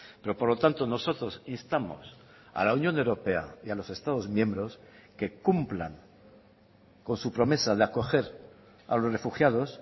pero por lo tanto nosotros instamos a la unión europea y a los estados miembros que cumplan con su promesa de acoger a los refugiados